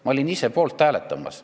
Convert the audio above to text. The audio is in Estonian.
Ma olin ise poolt hääletamas.